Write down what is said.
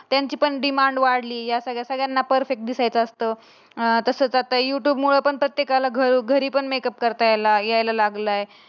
त्यांची पण डिमांड वाढली. यासाठी सगळ्यांना परफेक्ट दिसायचं असतं. अं तसं तर करता युट्युब मूळ प्रत्येकाला घरोघरी पण मेकअप करता यायला यायला लागला.